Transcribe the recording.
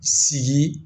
Sigi